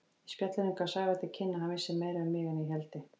Í spjallinu gaf Sævar til kynna að hann vissi meira um mig en ég héldi.